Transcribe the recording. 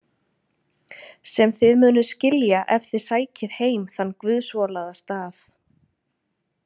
Sem þið munuð skilja ef þið sækið heim þann guðsvolaða stað.